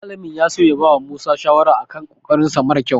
Malamin ya so ya bawa Musa shawara a kan ƙoƙarinsa mara ƙyau.